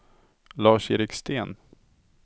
Lars-Erik Sten